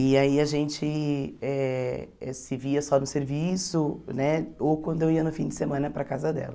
E aí a gente eh se via só no serviço né, ou quando eu ia no fim de semana para a casa dela.